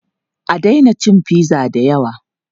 A daina cin pizza da yawa!